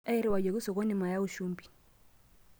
Airriwayioki sokoni mayau shumbi.